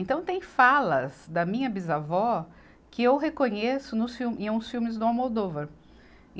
Então, tem falas da minha bisavó que eu reconheço nos fil, em uns filmes do Almodóvar. e